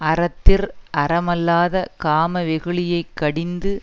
அறத்திற் அறமல்லாத காம வெகுளியைக் கடிந்து